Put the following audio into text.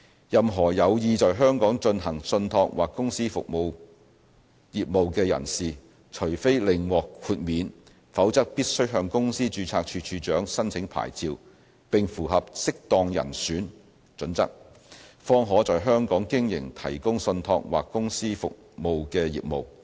任何有意在香港進行信託或公司服務業務的人士，除非另獲豁免，否則必須向公司註冊處處長申請牌照並符合"適當人選"準則，方可在香港經營提供信託或公司服務的業務。